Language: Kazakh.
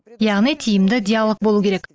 яғни тиімді диалог болу керек